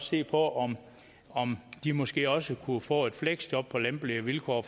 se på om om de måske også kunne få et fleksjob på lempelige vilkår